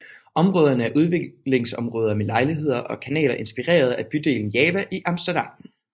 Områderne er udviklingsområder med lejligheder og kanaler inspireret af bydelen Java i Amsterdam